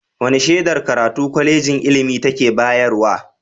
Wane shedar karatu Kwalejin ilimi take bayarwa?